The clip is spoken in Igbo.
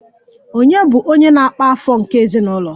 Ònye bụ onye na-akpa afọ nke ezinụlọ?